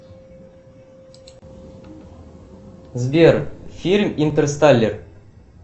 сбер фильм интерстеллар